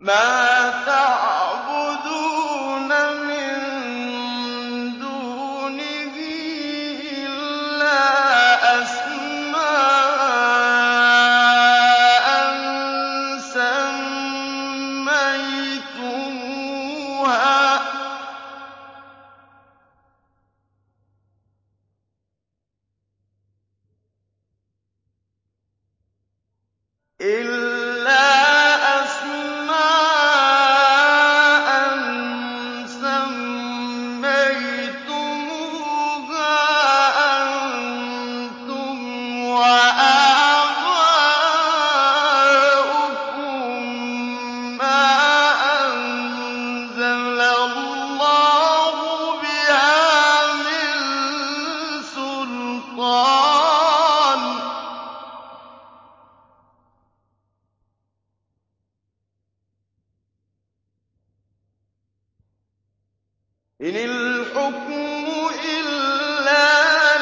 مَا تَعْبُدُونَ مِن دُونِهِ إِلَّا أَسْمَاءً سَمَّيْتُمُوهَا أَنتُمْ وَآبَاؤُكُم مَّا أَنزَلَ اللَّهُ بِهَا مِن سُلْطَانٍ ۚ إِنِ الْحُكْمُ إِلَّا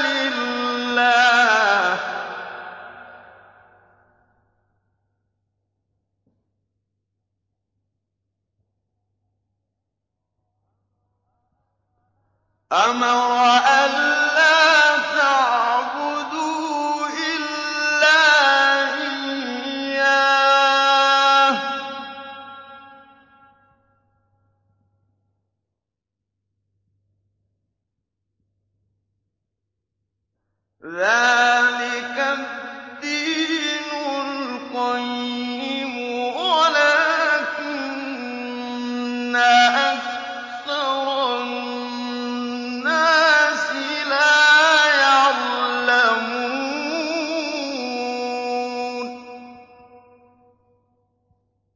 لِلَّهِ ۚ أَمَرَ أَلَّا تَعْبُدُوا إِلَّا إِيَّاهُ ۚ ذَٰلِكَ الدِّينُ الْقَيِّمُ وَلَٰكِنَّ أَكْثَرَ النَّاسِ لَا يَعْلَمُونَ